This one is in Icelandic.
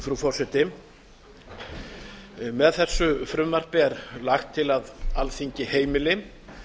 frú forseti með þessu frumvarpi er lagt til að alþingi heimili